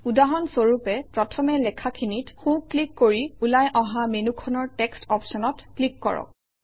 উদাহৰণ স্বৰূপে প্ৰথমে লেখাখিনিত সোঁ ক্লিক কৰি ওলাই অহা মেনুখনৰ টেক্সট অপশ্যনত ক্লিক কৰক